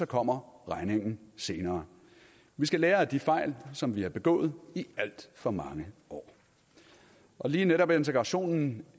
kommer regningen senere vi skal lære af de fejl som vi har begået i alt for mange år og lige netop integrationen